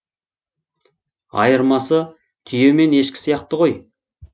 айырмасы түйе мен ешкі сияқты ғой